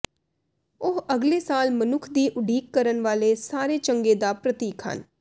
ਉਹ ਅਗਲੇ ਸਾਲ ਮਨੁੱਖ ਦੀ ਉਡੀਕ ਕਰਨ ਵਾਲੇ ਸਾਰੇ ਚੰਗੇ ਦਾ ਪ੍ਰਤੀਕ ਹਨ